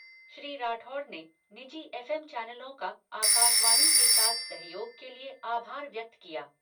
श्री राठौड़ ने निजी F M चैनलों का आकाशवाणी के साथ सहयोग के लिए आभार व्यक्त किया।